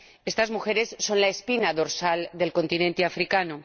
Estas mujeres son la espina dorsal del continente africano.